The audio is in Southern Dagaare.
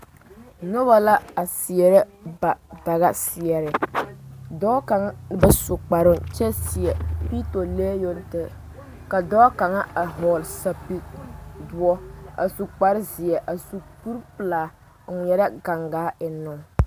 Noba la a seɛre ba daga seɛre dɔɔ kaŋ ba su kparo kyɛ seɛ piitolee yoŋ tɛɛ ka dɔɔ kaŋa a vɔgle zupele doɔ a su kpare zie a su kuri pelaa a ŋmɛɛre gangaa eŋee.